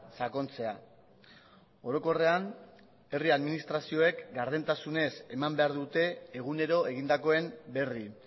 sakontzea orokorrean herri administrazioek gardentasunez eman behar dute egunero egindakoen berri